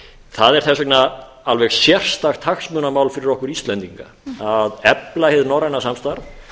það er þess vegna alveg sérstakt hagsmunamál fyrir okkur íslendinga að efla hið norræna samstarf